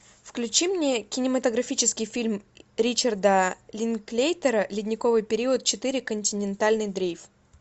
включи мне кинематографический фильм ричарда линклейтера ледниковый период четыре континентальный дрейф